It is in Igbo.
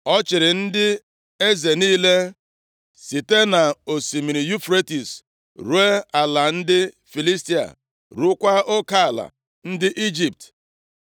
Ọ chịrị ndị eze niile site nʼosimiri Yufretis ruo nʼala ndị Filistia, rukwaa oke ala ndị Ijipt.